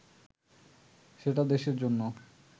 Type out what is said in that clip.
সেটা দেশের জন্য